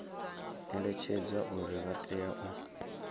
eletshedzwa uri vha tea u